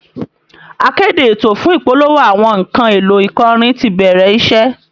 Akéde ètò fún ìpolówó àwọn nǹkan èlò ìkọrin ti bẹ̀rẹ̀ iṣẹ́